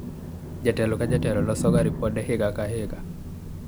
jatelo ka jatelo losoga ripode higa ka higa